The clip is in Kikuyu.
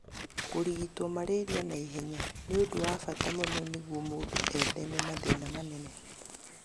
Kũrigitwo malaria na ihenya nĩ ũndũ wa bata mũno nĩguo mũndũ etheme mathĩna manene.